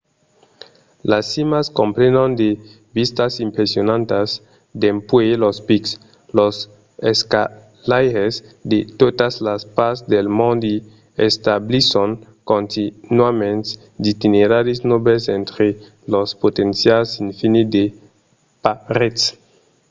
las cimas comprenon de vistas impressionantas dempuèi los pics. los escalaires de totas las parts del mond i establisson continuament d'itineraris novèls entre son potencial infinit de parets